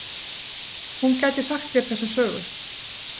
Hún gæti sagt þér þessa sögu.